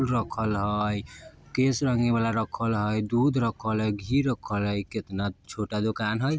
रखल हय केश रंगे वाला रखल हय दूध रखल हय घी रखल हय केतना छोटा दोकान हय।